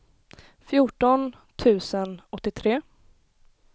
fjorton tusen åttiotre